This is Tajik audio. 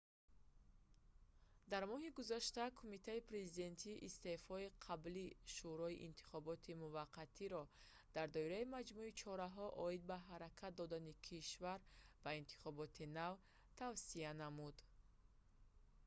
дар моҳи гузашта кумитаи президентӣ истеъфои қаблии шӯрои интихоботии муваққатиро cep дар доираи маҷмӯи чораҳо оид ба ҳаракат додани кишвар ба интихоботи нав тавсия намуд